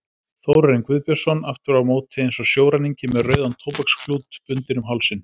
Þórarinn Guðbjörnsson aftur á móti eins og sjóræningi með rauðan tóbaksklút bundinn um hausinn.